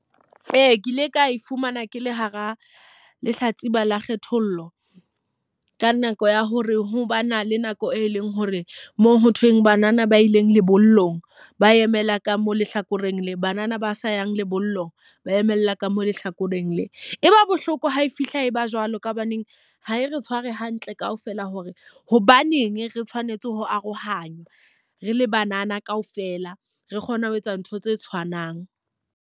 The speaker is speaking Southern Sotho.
Ee, ke ile ka e fumana ke le hara lehlatsipa la kgethollo. Ka nako ya hore ha ba na le nako e leng hore mo ho thweng banana ba ileng lebollong ba emela ka mo lehlakoreng le, banana ba sa yang lebollong ba emela ka mo lehlakoreng le. E ba bohloko ha e fihla e ba jwalo ka hobaneng ha e re tshware hantle ka ofela hore hobaneng re tshwanetse ho arohanya re le banana ka ofela, re kgona ho etsa ntho tse tshwanang.